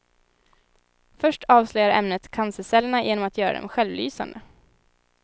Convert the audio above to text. Först avslöjar ämnet cancercellerna genom att göra dem självlysande.